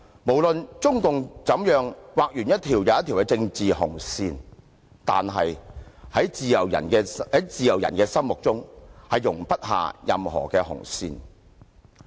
無論中共怎樣劃完一條又一條的政治紅線，但是，在自由人的心中，是容不下任何紅線的。